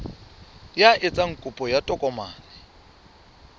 ya etsang kopo ya tokomane